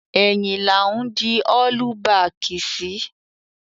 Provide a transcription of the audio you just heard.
Ẹ̀yìn là ń di ọ́lú baàkì sí.